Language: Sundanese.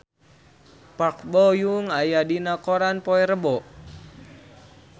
Park Bo Yung aya dina koran poe Rebo